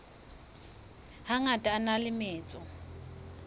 hangata a na le metso